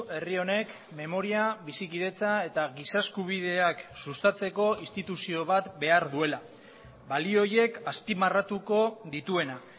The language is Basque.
herri honek memoria bizikidetza eta giza eskubideak sustatzeko instituzio bat behar duela balio horiek azpimarratuko dituena